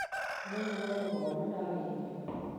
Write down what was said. Nĩngũhũmũka wona ndarĩkia